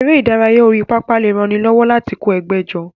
Eré ìdárayá orí pápá lè ran ni lọ́wọ́ láti kó ẹgbẹ́ jọ.